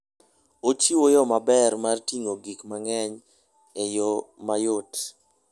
Ochiwo yo maber mar ting'o gik mang'eny e yo mayot.